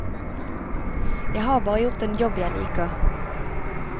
Jeg har bare gjort en jobb jeg liker.